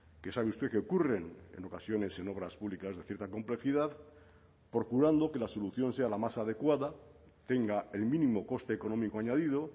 que sabe usted que ocurren en ocasiones en obras públicas de cierta complejidad procurando que la solución sea la más adecuada tenga el mínimo coste económico añadido